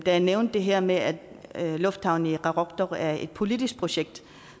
jeg nævnte det her med at lufthavnen i qaqortoq er et politisk projekt